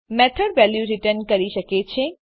method value return કરી શકે છે